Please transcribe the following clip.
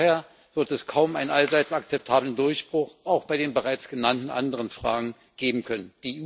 Vorher wird es kaum einen allseits akzeptablen Durchbruch, auch bei den bereits genannten anderen Fragen, geben können.